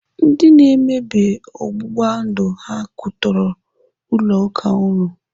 Ndi na-emebi ọgbụgba ndụ ha kwụtọrọ ụlọ ụka unu?